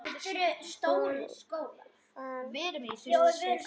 Hún fer suður.